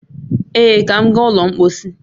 Ee, ka m gaa ụlọ mpọsị